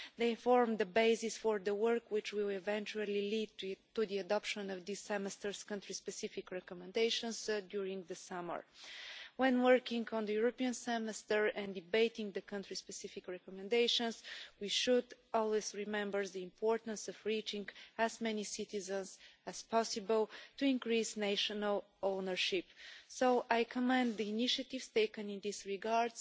They formed the basis for the work which will eventually lead to the adoption of this Semester's country-specific recommendations during the summer. When working on the European Semester and debating the country specific recommendations, we should always remember the importance of reaching as many citizens as possible, to increase national ownership. So I commend the initiatives taken in this regard,